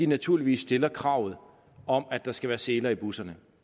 naturligvis stiller krav om at der skal være seler i busserne